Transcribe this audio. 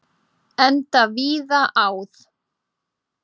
Enda víða áð.